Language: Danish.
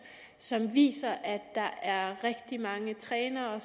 som viste at der er rigtig mange trænere